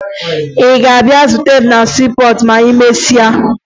Ị ga-abịa zute m na siipọọtụ ma emesịa?